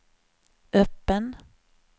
öppen